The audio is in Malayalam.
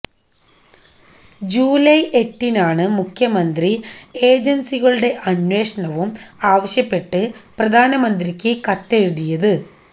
ജൂലൈ എട്ടിനാണ് മുഖ്യമന്ത്രി ഏജന്സികളുടെ അന്വേഷണവും ആവശ്യപ്പെട്ട് പ്രധാനമന്ത്രിക്ക് കത്തെഴുതിയത്